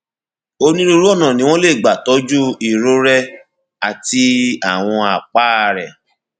onírúurú ọnà ni wọn lè gbà tọjú irorẹ àti àwọn àpá rẹ